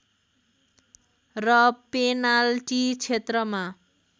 र पेनाल्टी क्षेत्रमा